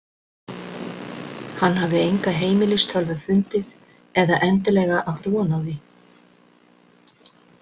Hann hafði enga heimilistölvu fundið eða endilega átt von á því.